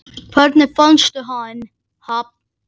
Hvernig fannstu hann?